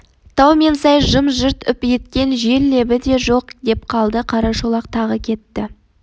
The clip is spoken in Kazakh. тау мен сай жым-жырт үп еткен жел лебі де жоқ деп қалды қарашолақ тағы кетті